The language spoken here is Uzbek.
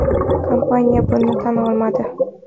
Kompaniya buni tan olmadi.